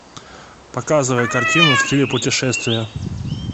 показывай картину в стиле путешествия